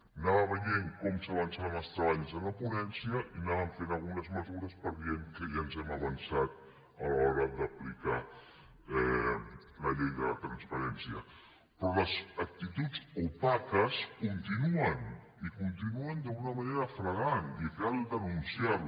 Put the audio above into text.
anava veient com s’avançaven els treballs en la ponència i anaven fent algunes mesures per dir que ja ens hem avançat a l’hora d’aplicar la llei de la transparència però les actituds opaques continuen i continuen d’una manera flagrant i cal denunciar les